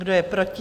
Kdo je proti?